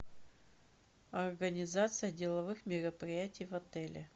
организация деловых мероприятий в отеле